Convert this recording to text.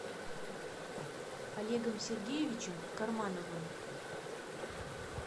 олегом сергеевичем кармановым